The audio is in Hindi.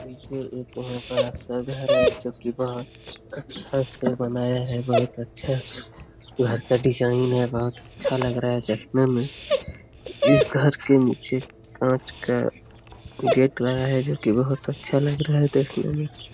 इसमें बहुत बड़ा सा घर है जो कि बहुत अच्छा से बनाया है बहुत अच्छा घर का डिजाइन है बहुत अच्छा लग रहा है देखने में घर के नीचे कांच का गेट लगा है जो कि बहुत अच्छा लग रहा है देखने में।